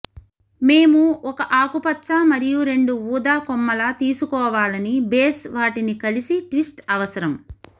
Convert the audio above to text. మేము ఒక ఆకుపచ్చ మరియు రెండు ఊదా కొమ్మల తీసుకోవాలని బేస్ వాటిని కలిసి ట్విస్ట్ అవసరం